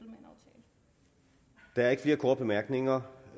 der er ikke flere korte bemærkninger